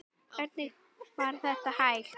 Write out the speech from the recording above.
Hvernig var þetta hægt?